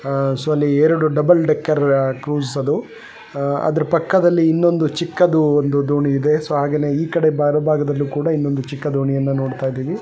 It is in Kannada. ಆ ಸೊ ಅಲ್ಲಿ ಡಬಲ್ ಡೆಕರ್ ಅ ಕ್ರೂಸ್ ಅದು. ಆ ಅದರ್ ಪಕ್ಕದಲ್ಲಿ ಇನ್ನೊಂದು ಚಿಕ್ಕದೂ ಒಂದು ದೋಣಿ ಇದೆ. ಸೊ ಹಾಗೇನೇ ಈಕಡೆ ಬಾರ ಭಾಗದಲ್ಲೂ ಕೂಡ ಇನ್ನೊಂದು ಚಿಕ್ಕ ದೋಣಿಯನ್ನ ನೋಡ್ತಾ ಇದ್ದೀವಿ .